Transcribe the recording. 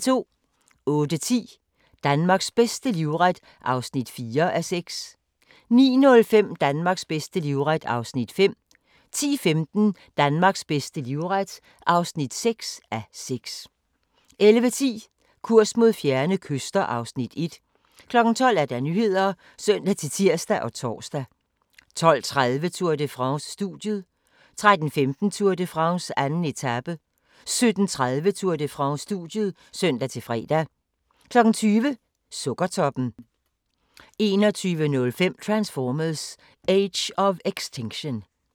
08:10: Danmarks bedste livret (4:6) 09:05: Danmarks bedste livret (5:6) 10:15: Danmarks bedste livret (6:6) 11:10: Kurs mod fjerne kyster (Afs. 1) 12:00: Nyhederne (søn-tir og tor) 12:30: Tour de France: Studiet 13:15: Tour de France: 2. etape 17:30: Tour de France: Studiet (søn-fre) 20:00: Sukkertoppen 21:05: Transformers: Age of Extinction